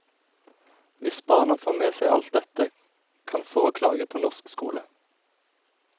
Hvis barna får med seg alt dette, kan få klage på norsk skole.